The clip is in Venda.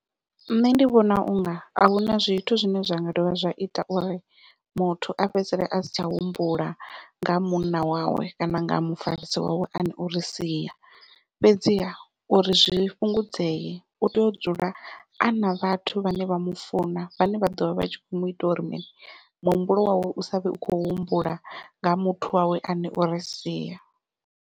Nṋe ndi vhona unga ahuna zwithu zwine zwa nga dovha zwa ita uri muthu a fhedzisele a si tsha humbula nga ha munna wawe kana nga ha mufarisi wawe ane ori sia, fhedziha uri zwi fhungudzee u tea u dzula a na vhathu vhane vha mufuna vhane vha ḓovha vha tshi kho mu ita uri muhumbulo wawe u savhe u khou humbula nga ha muthu wawe ane ori sia.